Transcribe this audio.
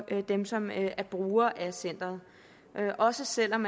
dem som er brugere af centeret også selv om